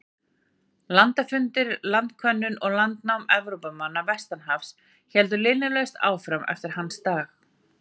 Landafundir, landkönnun og landnám Evrópumanna vestan hafs héldu linnulaust áfram eftir hans dag.